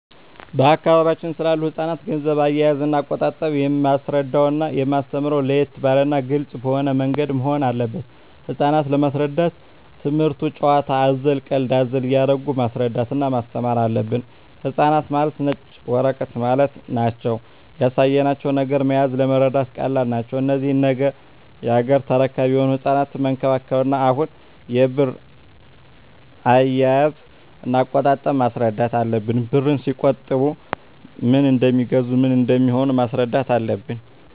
በአካባቢያችን ስላሉ ህጻናት ገንዘብ አያያዝና አቆጣጠብ የማስረዳውና የማስተምረው ለየት ባለና ግልጽ በሆነ ምንገድ መሆን አለበት ህጻናት ለመሰረዳት ትምክህቱን ጭዋታ አዘል ቀልድ አዘል እያረጉ ማስረዳት እና ማስተማር አለብን ህጻናት ማለት ነጭ ወረቀት ማለት ናቸው ያሳያቸው ነገር መያዝ ለመረዳት ቀላል ናቸው እነዚህ ነገ ያገሬ ተረካቢ የሆኑ ህጻናትን መንከባከብ እና አሁኑ የብር አያያዥ እና አቆጣጠብ ማስረዳት አለብን ብርን ሲቆጥቡ ምን እደሜገዛ ምን እንደሚሆኑም ማስረዳት አለብን